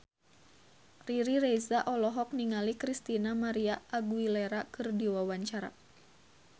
Riri Reza olohok ningali Christina María Aguilera keur diwawancara